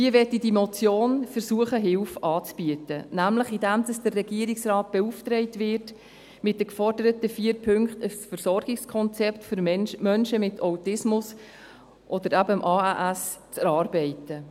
Hier möchte diese Motion versuchen, Hilfe anzubieten, nämlich indem der Regierungsrat beauftragt wird, mit den geforderten vier Punkten ein Versorgungskonzept für Menschen mit Autismus oder eben ASS zu erarbeiten.